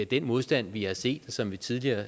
den modstand vi har set og som vi tidligere